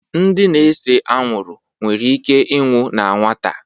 ndị na-ese anwụrụ nwere ike ịnwụ na nwata